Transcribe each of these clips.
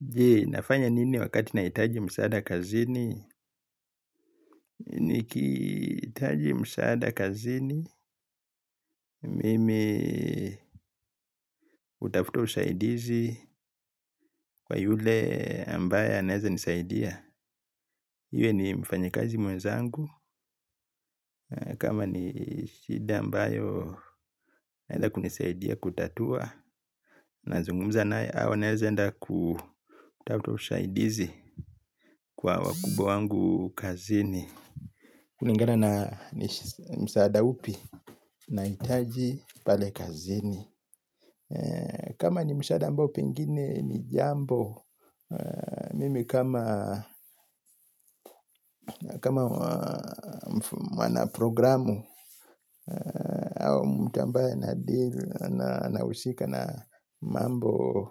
Je, nafanya nini wakati nahitaji msaada kazini? Nikihitaji msaada kazini, mimi hutafuta usaidizi kwa yule ambaye anaeza nisaidia. Iwe ni mfanyikazi mwenzangu, kama ni shida ambayo naeza kunisaidia kutatua, na zungumza naye au naeza enda kutafuta usaidizi kwa wa kubwa wangu kazini. Kulingana na ni msaada upi nahitaji pale kazini kama ni msaada ambao pengine ni jambo mimi kama mwana programu au mtu ambaye anadeal na anahusika na mambo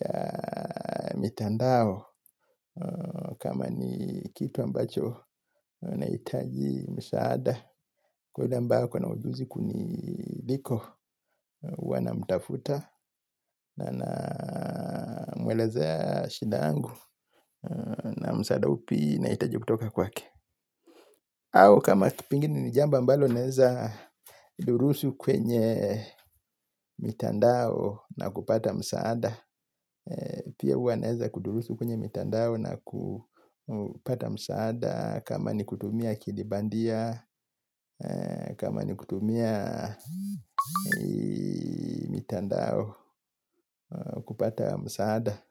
ya mitandao kama ni kitu ambacho nahitaji msaada kwa hivyo yule ambaye ako na ujuzi kuniliko huwa namtafuta na na mwelezea shinda yangu na msaada upi nahitaji kutoka kwake au kama pengine ni ni jambo ambalo naeza durusu kwenye mitandao na kupata msaada pia huwa naeza kudurusu kwenye mitandao na kupata msaada kama ni kutumia kilibandia kama ni kutumia mitandao kupata msaada.